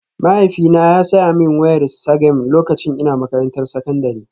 Mahaifina ya saya min wayar Sagem lokacin ina makarantar sakandare